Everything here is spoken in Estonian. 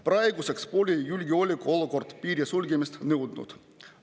Praeguseks pole julgeolekuolukord piiri sulgemist nõudnud.